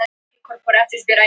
Það var. í ruslahrúgu.